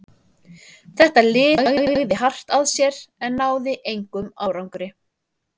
Þetta lið lagði hart að sér en náði engum árangri.